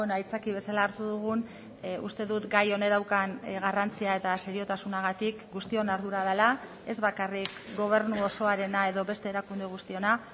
aitzaki bezala hartu dugun uste dut gai honek daukan garrantzia eta seriotasunagatik guztion ardura dela ez bakarrik gobernu osoarena edo beste erakunde guztiona